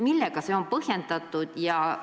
Millega see põhjendatud on?